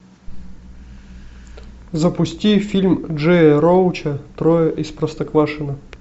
запусти фильм джея роуча трое из простоквашино